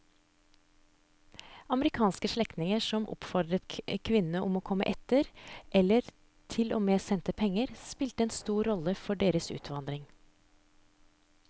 Amerikanske slektninger som oppfordret kvinnene om å komme etter eller til og med sendte penger spilte en stor rolle for deres utvandring.